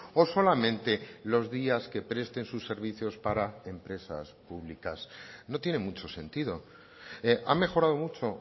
o solamente los días que presten sus servicios para empresas públicas no tiene mucho sentido ha mejorado mucho